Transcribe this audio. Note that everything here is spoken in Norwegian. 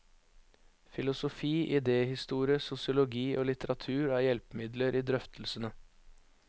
Filosofi, idéhistorie, sosiologi og litteratur er hjelpemidler i drøftelsene.